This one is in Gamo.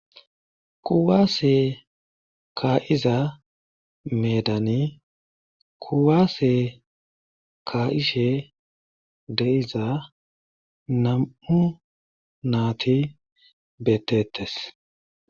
Kuwaase kaa'iza meedani kuwase ka'ishe de'iza nam'u naati beeteetees.